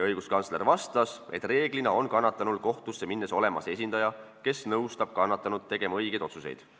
Õiguskantsler vastas, et enamasti on kannatanul kohtusse minnes esindaja, kes nõustab kannatanut tegema õigeid otsuseid.